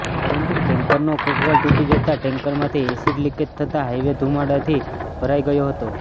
પરંતુ ટેન્કરનો કોકવાલ તૂટી જતાં ટેન્કરમાંથી એસિડ લીકેજ થતાં હાઈવે ધુમાડાથી ભરાઈ ગયો હતો